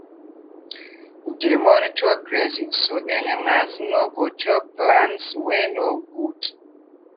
dey monitor grazing so animals no go chop plants wey no good.